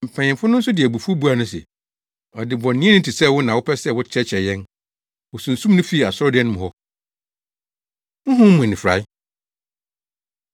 Mpanyimfo no nso de abufuw buaa no se, “Ɔdebɔneyɛni te sɛ wo na wopɛ sɛ wokyerɛkyerɛ yɛn?” Wosunsum no fii asɔredan no mu hɔ. Honhom Mu Anifurae